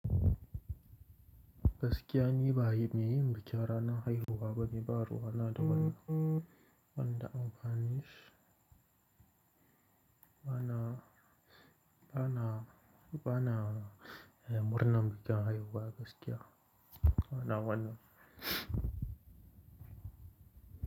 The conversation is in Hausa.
Gaskiya ni ba me yin bikin ranar haihuwa bane ba ruwa na da wani, wanda amfani, bana, bana, bana murnar bikin haihuwa gaskiya. Bana, bana.